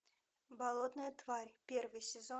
болотная тварь первый сезон